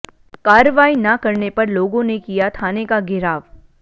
कार्रवाई न करने पर लोगों ने किया थाने का घेराव